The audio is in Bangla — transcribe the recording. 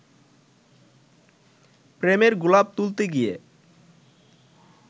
প্রেমের গোলাপ তুলতে গিয়ে